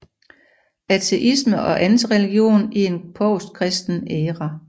Ateisme og antireligion i en postkristen æra